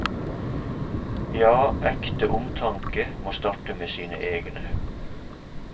Ja, ekte omtanke må starte med sine egne.